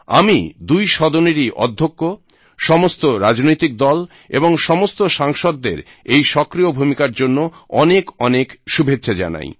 আমি দুই সদনেরই অধ্যক্ষ সমস্ত রাজনৈতিক দল এবং সমস্ত সাংসদদের এই সক্রিয় ভুমিকার জন্য অনেক অনেক শুভেচ্ছা জানাই